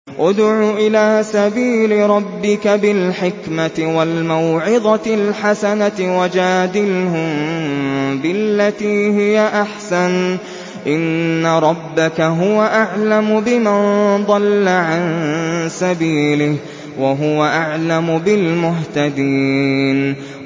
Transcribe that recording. ادْعُ إِلَىٰ سَبِيلِ رَبِّكَ بِالْحِكْمَةِ وَالْمَوْعِظَةِ الْحَسَنَةِ ۖ وَجَادِلْهُم بِالَّتِي هِيَ أَحْسَنُ ۚ إِنَّ رَبَّكَ هُوَ أَعْلَمُ بِمَن ضَلَّ عَن سَبِيلِهِ ۖ وَهُوَ أَعْلَمُ بِالْمُهْتَدِينَ